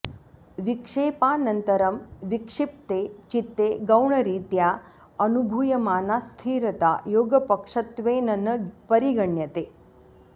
विक्षेपानन्तरं विक्षिप्ते चित्ते गौणरीत्या अनुभूयमाना स्थिरता योगपक्षत्वेन न परिगण्यते